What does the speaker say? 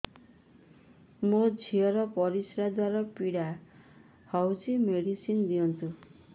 ମୋ ଝିଅ ର ପରିସ୍ରା ଦ୍ଵାର ପୀଡା ହଉଚି ମେଡିସିନ ଦିଅନ୍ତୁ